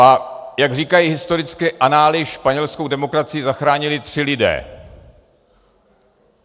A jak říkají historické anály, španělskou demokracii zachránili tři lidé.